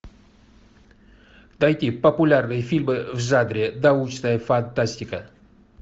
найди популярные фильмы в жанре научная фантастика